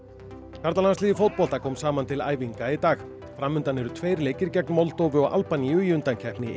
karlalandsliðið í fótbolta kom saman til æfinga í dag fram undan eru tveir leikir gegn Moldóvu og Albaníu í undankeppni